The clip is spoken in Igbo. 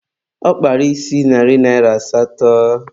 Ọ kpara isi narị asatọ